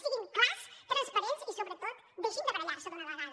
siguin clars transparents i sobretot deixin de barallar se d’una vegada